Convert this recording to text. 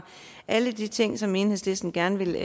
alle de ting som enhedslisten gerne vil